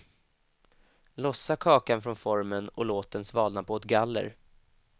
Lossa kakan från formen och låt den svalna på ett galler.